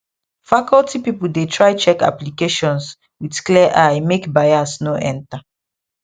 faculty people dey try check applications with clear eye make bias no enter